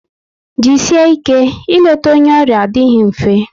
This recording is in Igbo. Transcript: Jisie ike, ị leta onye ọrịa adịghị mfe